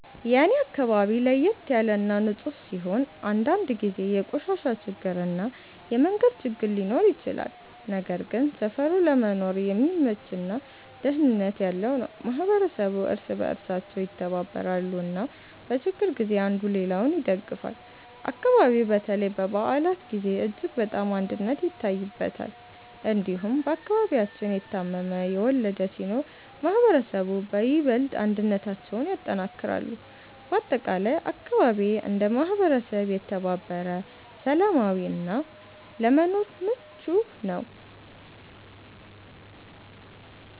የኔ አካባቢ ለየት ያለ እና ንፁህ ሲሆን፣ አንዳንድ ጊዜ የቆሻሻ ችግር እና የመንገድ ችግር ሊኖር ይችላል። ነገር ግን ሰፈሩ ለመኖር የሚመች እና ደህንነት ያለው ነው። ማህበረሰቡ እርስ በእርሳቸው ይተባበራሉ እና በችግር ጊዜ አንዱ ሌላውን ይደግፋል። አካባቢው በተለይ በበዓላት ጊዜ እጅግ በጣም አንድነት ይታይበታል። እንዲሁም በአከባቢያችን የታመመ፣ የወለደ ሲኖር ማህበረሰቡ በይበልጥ አንድነታቸውን ያጠናክራሉ። በአጠቃላይ አካባቢዬ እንደ ማህበረሰብ የተባበረ፣ ሰላማዊ እና ለመኖር ምቹ ነው።